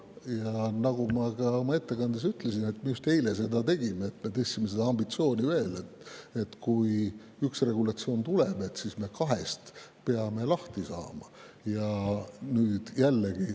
Ja nagu ma ka oma ettekandes ütlesin, just eile me seda tegime: me tõstsime seda ambitsiooni veel, nii et kui üks regulatsioon tuleb, siis me kahest peame lahti saama.